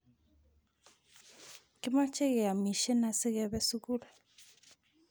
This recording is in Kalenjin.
Kimache keyamishen asikepe sukul